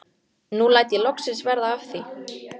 Raunar mun íslenskt fjörugrjót hafa heillað Gerði fyrr.